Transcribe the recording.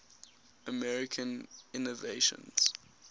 american inventions